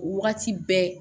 O wagati bɛɛ